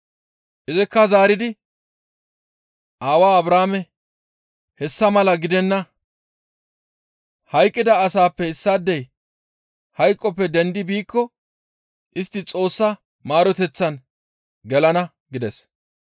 «Izikka zaaridi, ‹Aawaa Abrahaame, hessa mala gidenna; hayqqida asaappe issaadey hayqoppe dendi biikko istti Xoossa maaroteththan gelana› gides.